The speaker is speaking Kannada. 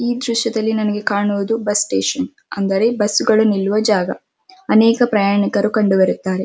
ಈ ದೃಶ್ಯದಲ್ಲಿ ನಮಗೆ ಕಣುವುದು ಬಸ್ ಸ್ಟೇಷನ್ ಅಂದ್ರೆ ಬಸ್ ಗಳು ನಿಲ್ಲುವ ಜಾಗ ಅನೇಕ ಪ್ರಯಾಣಿಕರು ಕಂಡು ಬರುತ್ತಾರೆ.